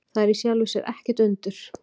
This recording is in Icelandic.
Það er í sjálfu sér ekkert undur.